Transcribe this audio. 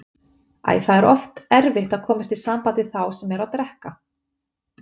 Æi, það er oft erfitt að komast í samband við þá sem eru að drekka.